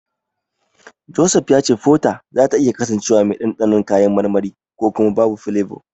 Joseph ya ce Fota zata iya kasancewa mai dandanon kayan marmari ko kuma babu filebo.